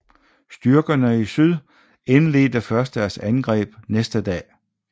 Styrkerne i syd indledte først deres angreb næste dag